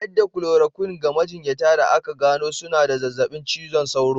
Bayar da "chloroquine" ga majinyata da aka gano suna da zazzabin cizon sauro.